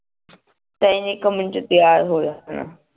ਤਾਈ ਨੇ ਇੱਕ ਮਿੰਟ ਚ ਤੀਆਰ ਹੋ ਜਾਣਾ